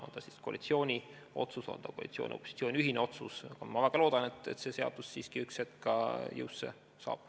On see siis koalitsiooni otsus või on see koalitsiooni ja opositsiooni ühine otsus, aga ma väga loodan, et see seadus siiski üks hetk ka jõusse saab.